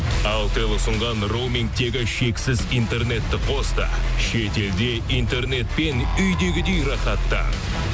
алтел ұсынған роумингтегі шексіз интернетті қос та шетелде интернетпен үйдегідей рахаттан